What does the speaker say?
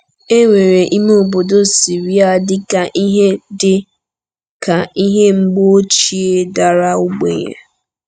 E weere ime obodo Siria dị ka ihe dị ka ihe mgbe ochie dara ogbenye.